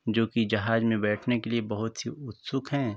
जोकि जहाज मे बैठने के लिए बोहोत ही उत्सुक हैं।